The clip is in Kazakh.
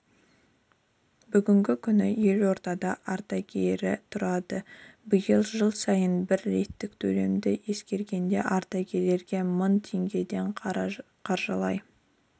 бүгінгі күні елордада ардагері тұрады биыл жыл сайынғы бір реттік төлемді ескергенде ардагерлерге мың теңгеден қаржылай